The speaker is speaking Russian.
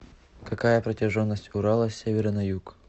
какая протяженность урала с севера на юг